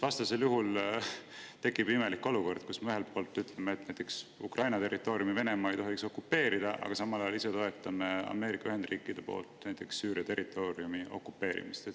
Vastasel juhul tekib imelik olukord, kus me ühelt poolt ütleme, et näiteks Ukraina territooriumi Venemaa ei tohiks okupeerida, aga samal ajal ise toetame Ameerika Ühendriikide poolt näiteks Süüria territooriumi okupeerimist.